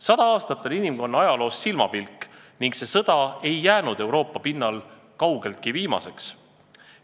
" Sada aastat on inimkonna ajaloos silmapilk ning see sõda ei jäänud Euroopa pinnal kaugeltki viimaseks.